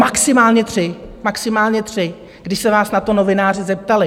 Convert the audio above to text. Maximálně tři, když se vás na to novináři zeptali.